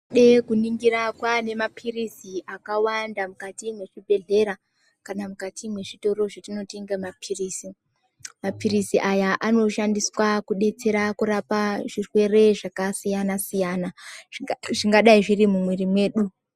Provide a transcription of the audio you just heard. Dekuningira kwaanemapirizi akawanda mukati mezvibhedhlera kana mukati mwezvitoro zvetinotenga mapirizi ,mapirizi aya anoshandiswa kudetsera kurapa zvirwere zvakasiyana siyana zvingadai zviri mumwiiri mwedu .